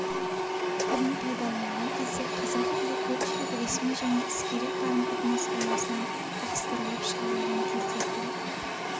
тілін пайдаланған кезде қазақ тілі көпшілік ресми және іскери қарым-қатынас аясынан ығыстырылып шығарылған кезде тіл